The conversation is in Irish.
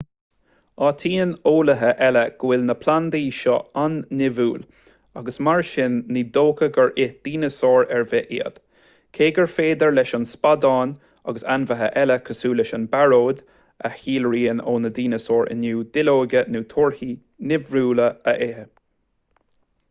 áitíonn eolaithe eile go bhfuil na plandaí seo an-nimhiúil agus mar sin ní dócha gur ith dineasáir ar bith iad cé gur féidir leis an spadán agus ainmhithe eile cosúil leis an bpearóid a shíolraíonn ó na dineasáir inniu duilleoga nó torthaí nimhiúla a ithe